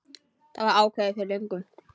Það var ákveðið fyrir löngu.